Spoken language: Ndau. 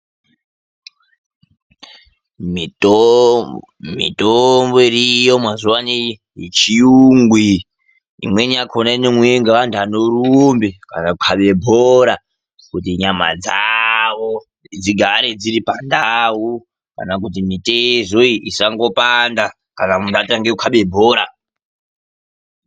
Mitombo iriyo mazuvano yechiyungu iyi imweni yakona inomwiwe nganthu anorumbe kana kukabe bhora kuti nyama dzavo dzigare dziru pandau kana kuti mitezo iyi isangopanda kana munhtu atange kukabe bhora.